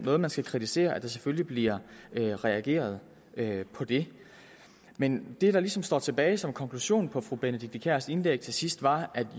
noget man skal kritisere at der selvfølgelig bliver reageret på det men det der ligesom står tilbage som konklusion på fru benedikte kiærs indlæg til sidst var